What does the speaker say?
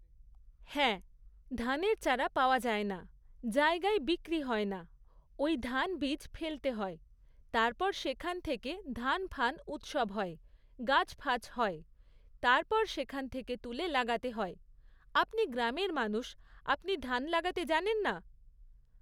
হ্যাঁ, ধানের চারা পাওয়া যায় না। জায়গায় বিক্রি হয় না। ওই ধান বীজ ফেলতে হয়, তারপর সেখান থেকে ধান ফান উৎসব হয়, গাছ ফাছ হয়, তারপর সেখান থেকে তুলে লাগাতে হয়। আপনি গ্রামের মানুষ আপনি ধান লাগাতে জানেন না?